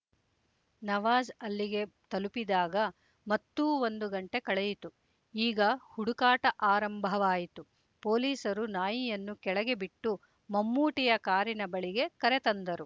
ನವಾಜ್ ಅಲ್ಲಿಗೆ ತಲುಪಿದಾಗ ಮತ್ತೂ ಒಂದು ಗಂಟೆ ಕಳೆಯಿತು ಈಗ ಹುಡುಕಾಟ ಆರಂಭವಾಯಿತು ಪೊಲೀಸರು ನಾಯಿಯನ್ನು ಕೆಳಗೆ ಬಿಟ್ಟು ಮಮ್ಮೂಟಿಯ ಕಾರಿನ ಬಳಿಗೆ ಕರೆ ತಂದರು